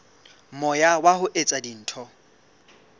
moya wa ho etsa dintho